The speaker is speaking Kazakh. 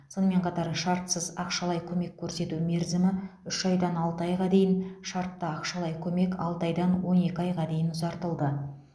сонымен қатар шартсыз ақшалай көмек көрсету мерзімі үш айдан алты айға дейін шартты ақшалай көмек алты айдан он екі айға дейін ұзартылды